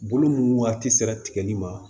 Bolo ninnu waati sera tigɛli ma